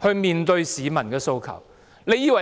不面對市民的訴求。